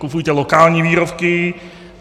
Kupujte lokální výrobky.